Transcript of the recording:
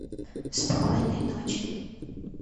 спокойной ночи